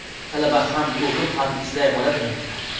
Talaba ham o‘qib, ham ishlay oladimi?.